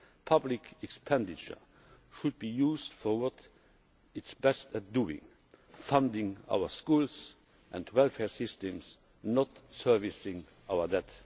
Public expenditure should be used for what it is best at doing funding our schools and welfare systems, not servicing our debt.